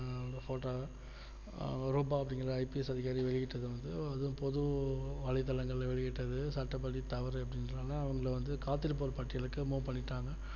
photo வ அவங்க Roopa IPS அதிகாரி வெளியிட்டது வந்து அதும் பொது வலைத்தளங்களில் வெளியட்டது சட்டப்படி தவறுன்றதுனால அதுல வந்து காத்திருப்போர் பட்டியலுக்கு move பண்ணிட்டாங்க